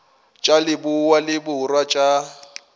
tša leboa le borwa tša